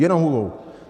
Jenom hubou!